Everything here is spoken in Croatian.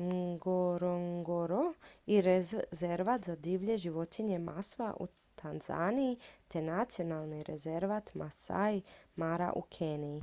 ngorongoro i rezervat za divlje životinje maswa u tanzaniji te nacionalni rezervat maasai mara u keniji